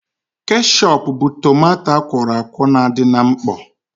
Keshọp bụ tomanto akwọrọ akwọ na-adị na mkpọ